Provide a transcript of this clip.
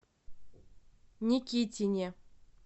никитине